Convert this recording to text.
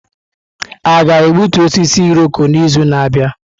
A ga-egbutu osisi Irọko n'izu na-abịa?